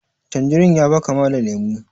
Tanjerin ya ba kama da lemu